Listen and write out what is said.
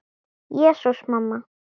Jesús, mamma.